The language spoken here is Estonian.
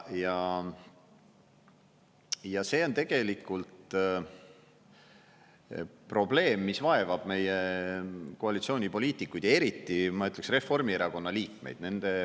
Ja see on tegelikult probleem, mis vaevab meie koalitsioonipoliitikuid, eriti, ma ütleks, Reformierakonna liikmeid.